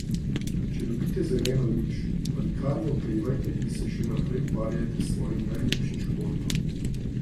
Če dobite zeleno luč, pa nikar ne oklevajte in se še naprej ukvarjajte s svojim najljubšim športom.